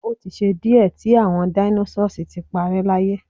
o ti ṣe diẹ ti awọn dinosaurs ti parẹ́ láyé